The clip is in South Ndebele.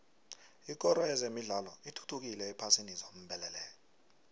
ikoro yezemidlalo ithuthukile ephasini zombelele